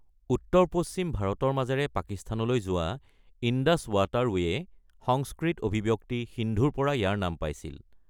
উত্তৰ-পশ্চিম ভাৰতৰ মাজেৰে পাকিস্তানলৈ যোৱা ইণ্ডাছ ৱাটাৰৱে'য়ে সংস্কৃত অভিব্যক্তি সিন্ধুৰ পৰা ইয়াৰ নাম পাইছিল।